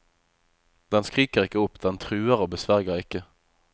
Den skriker ikke opp, den truer og besverger ikke.